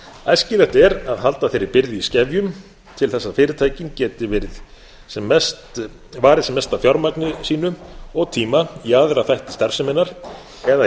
æskilegt er að halda þeirri byrði í skefjum til þess að fyrirtækin geti varið sem mestu af fjármagni sínu og tíma í aðra þætti starfseminnar eða í